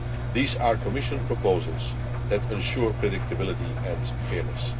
These are Commission proposals which ensure predictability and fairness.